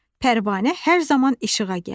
Pərvanə hər zaman işığa gəlir.